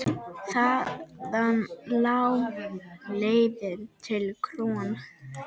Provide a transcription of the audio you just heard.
Þaðan lá leiðin til KRON.